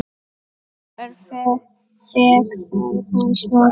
Nú er vegferð hans lokið.